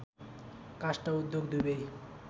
काष्ट उद्योग दुवै